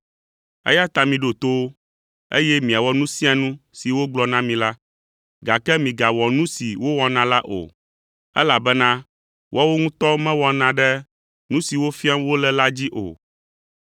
eya ta miɖo to wo, eye miawɔ nu sia nu si wogblɔ na mi la, gake migawɔ nu si wowɔna la o, elabena woawo ŋutɔ mewɔna ɖe nu siwo fiam wole la dzi o.